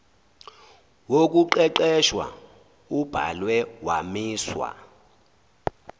wokuqeqesha ubhalwe wamiswa